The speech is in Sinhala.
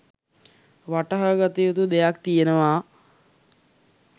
වටහා ගත යුතු දෙයක් තියෙනවා.